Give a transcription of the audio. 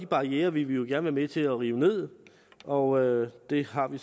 barrierer vil vi jo gerne være med til at rive ned og det har vi